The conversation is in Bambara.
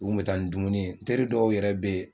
U kun bɛ taa ni dumuni ye teri dɔw yɛrɛ bɛ yen